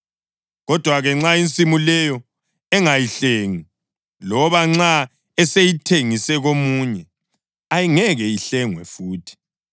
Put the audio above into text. Kodwa-ke nxa insimu leyo engayihlengi, loba nxa eseyithengise komunye, ayingeke ihlengwe futhi.